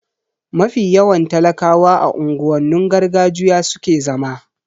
Mafi yawan talakawa a unguwannin gargajiya suke zama